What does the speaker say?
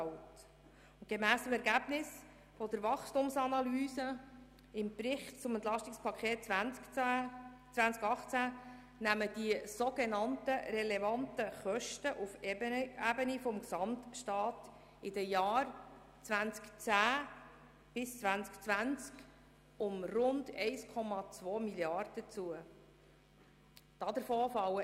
Gemäss den Ergebnissen unserer Wachstumsanalyse im Bericht zum EP 2018 nehmen die sogenannt relevanten Kosten auf der Ebene des Gesamtstaats in den Jahren 2010 bis 2020 um rund 1,2 Mrd. Franken zu.